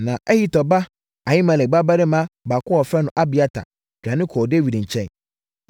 Na Ahitub ba Ahimelek babarima baako a wɔfrɛ no Abiatar dwane kɔɔ Dawid nkyɛn.